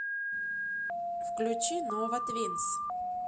включи нова твинс